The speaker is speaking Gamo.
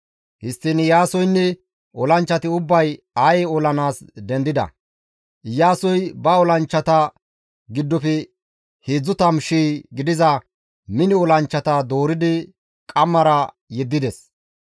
Histtiin Iyaasoynne olanchchati ubbay Aye olanaas dendida. Iyaasoy ba olanchchata giddofe 30,000 gidiza mino olanchchata dooridi qammara yeddides.